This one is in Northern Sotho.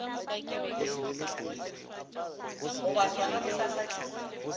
go ba sona bosasa ke